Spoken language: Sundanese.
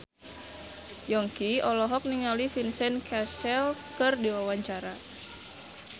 Yongki olohok ningali Vincent Cassel keur diwawancara